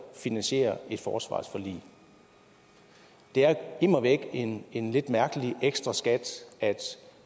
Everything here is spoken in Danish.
finansiere et forsvarsforlig det er immer væk en en lidt mærkelig ekstra skat